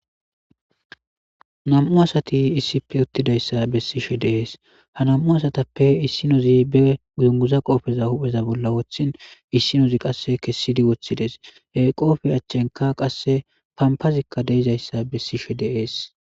Bami'u asati issippe uttidayssa bessishe de'es. Ha asatappe issinozi be dunguza qoope hu'eza bolla woththin issinozi qasse kessidi woththides. He qoope achchenkka qasse pamppazi de'izayssa bessishe de'es.